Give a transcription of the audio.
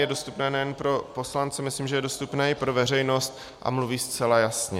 Je dostupné nejen pro poslance, myslím, že je dostupné i pro veřejnost, a mluví zcela jasně.